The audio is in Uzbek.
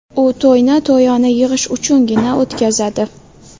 U to‘yni to‘yona yig‘ish uchungina o‘tkazadi.